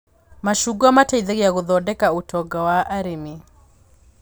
Macungwa mateithagia gũthondeka ũtonga wa arĩmi